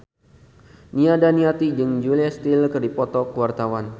Nia Daniati jeung Julia Stiles keur dipoto ku wartawan